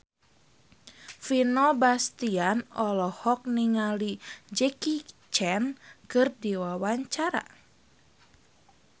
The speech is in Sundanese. Vino Bastian olohok ningali Jackie Chan keur diwawancara